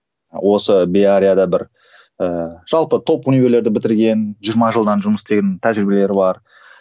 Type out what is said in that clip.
осы беарияда бір ыыы жалпы топ универлерді бітірген жиырма жылдан жұмыс істеген тәжірибелері бар